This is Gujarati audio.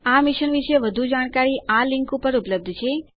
આ મિશન વિશે વધુ જાણકારી આ લિંક ઉપર ઉપલબ્ધ છે